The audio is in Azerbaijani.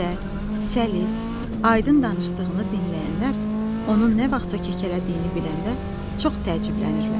Gözəl, səlis, aydın danışdığını dinləyənlər onun nə vaxtsa kəkələdiyini biləndə çox təəccüblənirlər.